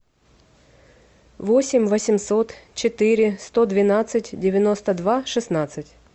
восемь восемьсот четыре сто двенадцать девяносто два шестнадцать